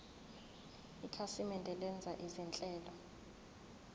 ikhasimende lenza izinhlelo